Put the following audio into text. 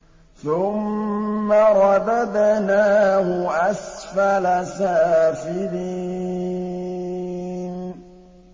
ثُمَّ رَدَدْنَاهُ أَسْفَلَ سَافِلِينَ